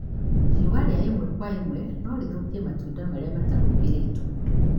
riũa riaimwe kwa ĩmwe no rĩthũkie matunda marĩa matahumbĩrĩtwo.